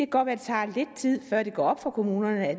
godt være det tager lidt tid før det går op for kommunerne at